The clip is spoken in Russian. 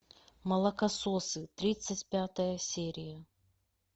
молокососы тридцать пятая серия